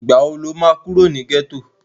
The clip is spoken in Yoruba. ìgbà wo ló máa kúrò ní gẹ́tò?